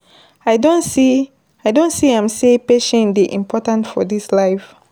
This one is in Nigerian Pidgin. I don see am sey patience dey important for dis life.